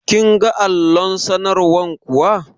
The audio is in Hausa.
Kin ga allon sanarwar kuwa?